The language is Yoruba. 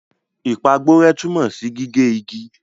Ìpàgborẹ́ tunmo si gige igi.